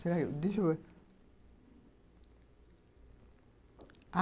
Deixa eu ver.